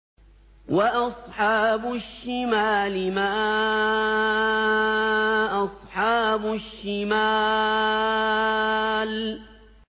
وَأَصْحَابُ الشِّمَالِ مَا أَصْحَابُ الشِّمَالِ